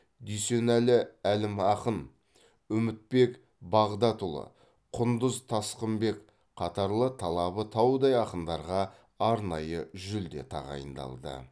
дүйсенәлі әлімақын үмітбек бағдатұлы құндыз тасқынбек қатарлы талабы таудай ақындарға арнайы жүлде тағайындалды